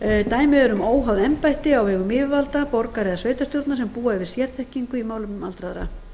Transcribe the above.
dæmi eru um óháð embætti á vegum yfirvalda borgar eða sveitarstjórna sem búa yfir sérþekkingu á málefnum aldraðra